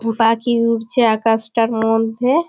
ওটা কি উড়ছে আকাশটার মধ্যে ?